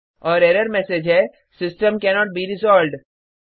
और error message है system cannot be resolved